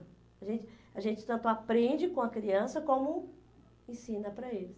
A gente a gente tanto aprende com a criança como ensina para eles.